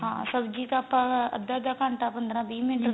ਹਾਂ ਸਬਜੀ ਤਾਂ ਆਪਾਂ ਅੱਧਾ ਅੱਧਾ ਘੰਟਾ ਪੰਦਰਾ ਵੀਹ ਮਿੰਟ